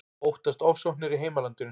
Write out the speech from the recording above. Óttast ofsóknir í heimalandinu